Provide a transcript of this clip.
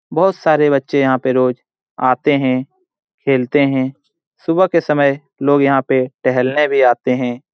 बोहोत सारे बच्चें यहां पर रोज आते हैं खेलते हैं। सुबह के समय लोग यहां पर टहलने भी आते हैं।